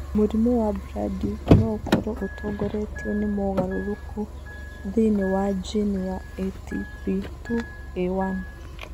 Mũrimũ wa Brody no ũkorũo ũtongoretio nĩ mogarũrũku thĩinĩ wa jini ya ATP2A1.